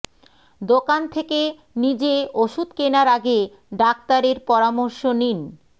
দোকান থেকে নিজে ওষুধ কেনার আগে ডাক্তারের পরামর্শ নিন